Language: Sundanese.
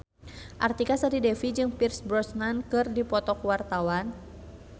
Artika Sari Devi jeung Pierce Brosnan keur dipoto ku wartawan